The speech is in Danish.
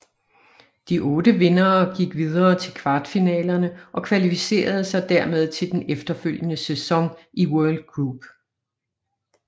De otte vindere gik videre til kvartfinalerne og kvalificerede sig dermed til den efterfølgende sæson i World Group